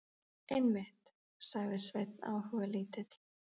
Einmitt, sagði Sveinn áhugalítill.